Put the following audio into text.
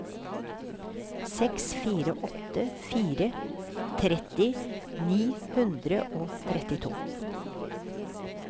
seks fire åtte fire tretti ni hundre og trettito